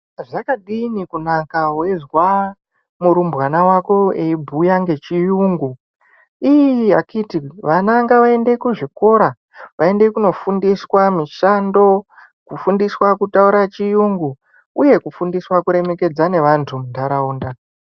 Zvakadini kunaka weizwa murumbwana wako eibhuya ngechiyungu iii akhiti ana ngavaende kuzvikora vaende kundofundiswa mushando kufundiswa kutaura chiyungu uye Kufundiswa kuremekedza nevantu muntaraunda .